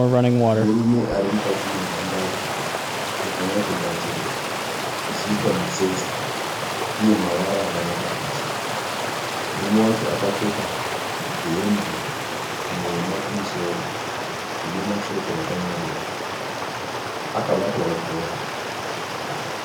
Murume ari mukati menhandare yakanyatsogadzirwa ichiiswa mitsetse uye mavara akanaka pasi. Murume wacho akapfeka hembe nhema kumusoro ine mashoko akanyorwa. Akabatawo bhora.